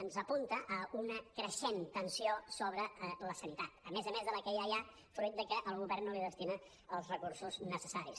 ens apunta a una creixent tensió sobre la sanitat a més a més de la que ja hi ha fruit de que el govern no li destina els recursos necessaris